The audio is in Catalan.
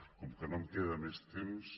com que no em queda més temps